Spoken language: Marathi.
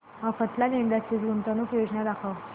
मफतलाल इंडस्ट्रीज गुंतवणूक योजना दाखव